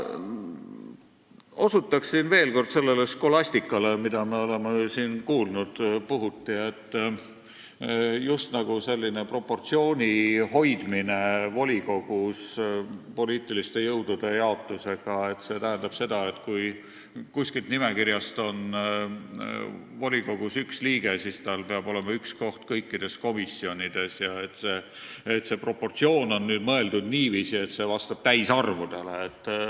Ma osutan veel kord sellele skolastikale, mida me oleme siin puhuti kuulnud, just nagu volikogus poliitiliste jõudude jaotusel sellise proportsiooni hoidmine tähendaks seda, et kui kuskilt nimekirjast on volikogus üks liige, siis tal peab olema üks koht kõikides komisjonides ja et see proportsioon on mõeldud niiviisi, et see peab vastama täisarvudele.